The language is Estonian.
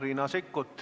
Riina Sikkut.